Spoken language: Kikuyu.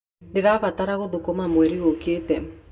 Ndĩrabanga gũthama mweri ũkĩte.